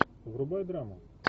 врубай драму